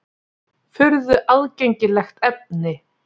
Furðu aðgengilegt efni!